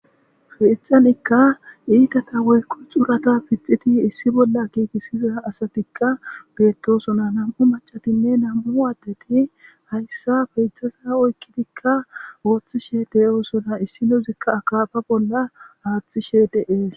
Keththanikka iththatha woyikko suraththa gixidhdhi issi bolla giggisiza asatikka bettosona nam'u mac'attinne nam'u addetti haysa bettizza oyikidi oththishshe de'osona issinozikka akaffa bolla aththishe de'es.